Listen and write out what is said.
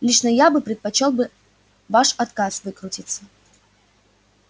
лично я бы предпочёл ваш отказ выкрутиться